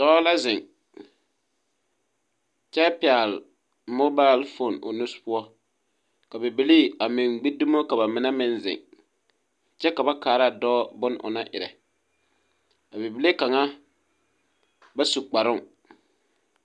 Dɔɔ la zeŋ kyɛ pɛgle mobile phone o nu poɔ ka Bibilii a meŋ gbi dumo ka ba mine meŋ zeŋ kyɛ ba kaara dɔɔ bon o nang erɛ a bible kaŋa ba su kparoo.